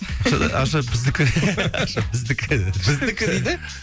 ақша да ақша біздікі ақша біздікі біздікі дейді